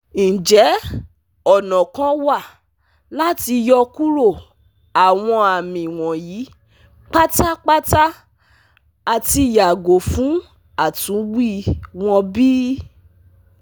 Njẹ ọna kan wa lati yọkuro awọn ami wọnyi patapata ati yago fun atunwi wọn bi?